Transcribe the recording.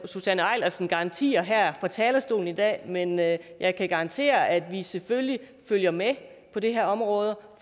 eilersen garantier her fra talerstolen i dag men jeg jeg kan garantere at vi selvfølgelig følger med på det her område